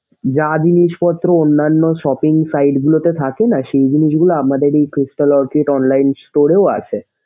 যা জিনিসপত্র অন্যান্য shopping site গুলোতে থাকেনা সেইগুলো যেগুলো আমাদের এই Crrystal Orchid online store এও আছে।